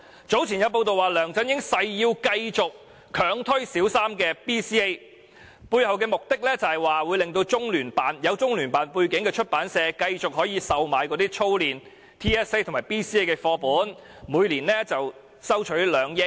早前有報道指梁振英誓要繼續強推小三 BCA， 背後目的是讓具有中央人民政府駐香港特別行政區聯絡辦公室背景的出版社可以繼續售賣操練 TSA 及 BCA 的課本，每年賺取2億元。